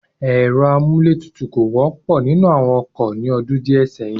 Ẹ̀rọ amúlé tutù kò wọ́pọ̀ nínú àwọn ọkọ̀ ní ọdún díẹ̀ sẹ́yìn.